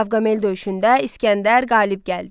Qavqamel döyüşündə İsgəndər qalib gəldi.